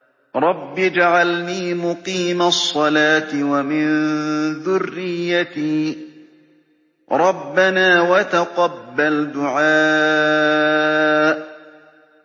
رَبِّ اجْعَلْنِي مُقِيمَ الصَّلَاةِ وَمِن ذُرِّيَّتِي ۚ رَبَّنَا وَتَقَبَّلْ دُعَاءِ